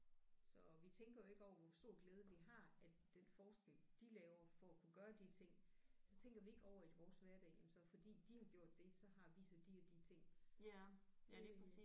Så vi tænker jo ikke over hvor stor glæde vi har af den forskning de laver for at kunne gøre de ting så tænker vi ikke over i vores hverdag jamen så fordi de har gjort det så har vi så de og de ting det